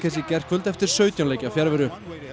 gærkvöld eftir sautján leikja fjarveru